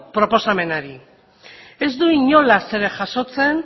proposamenari ez du inolaz ere jasotzen